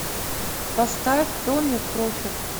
поставь томми профит